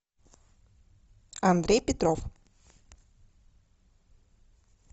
андрей петров